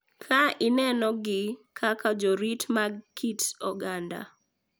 Ka inenogi kaka jorit mag kit oganda .